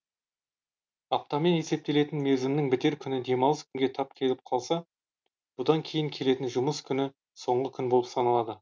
аптамен есептелетін мерзімнің бітер күні демалыс күнге тап келіп қалса бұдан кейін келетін жұмыс күні соңғы күн болып саналады